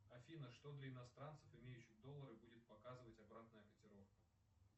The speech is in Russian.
афина что для иностранцев имеющих доллары будет показывать обратная котировка